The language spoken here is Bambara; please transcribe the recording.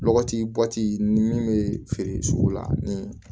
Lɔgɔti bɔti ni min bɛ feere sugu la ni